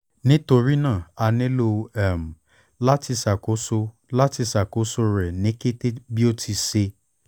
nitorina a nilo um lati ṣakoso lati ṣakoso rẹ ni kete bi o ti ṣee